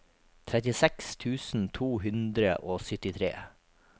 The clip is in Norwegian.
trettiseks tusen to hundre og syttitre